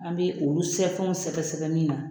An bɛ olu sɛfɛnw sɛgɛsɛgɛ min na